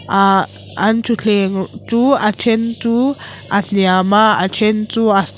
ah an thuthleng chu a then chu a hniam a then a chu a sang--